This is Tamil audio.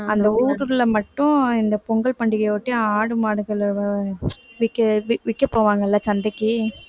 அந்த ஊருக்குள்ள மட்டும் இந்த பொங்கல் பண்டிகையை ஒட்டி ஆடு மாடுகளை விற்க வி~ விற்க போவாங்க இல்லை சந்தைக்கு